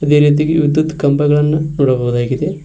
ಅದೇ ರೀತಿ ವಿದ್ಯುತ್ ಕಂಬಗಳನ್ನು ನೋಡಬಹುದಾಗಿದೆ.